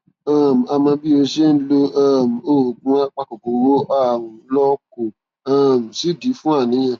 um àmọ bí ó ṣe ń lo um oògùn apakòkòrò ààrùn lọ kò um sídìí fún àníyàn